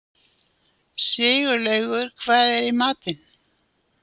Sigurlaugur, hvað er í matinn?